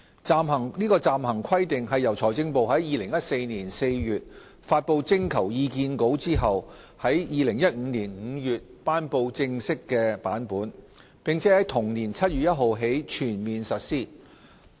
《暫行規定》由財政部於2014年4月發布徵求意見稿後，於2015年5月頒布正式版本，並在同年7月1日起全面實施。